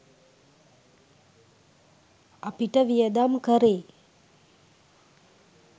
අපිට වියදම් කරේ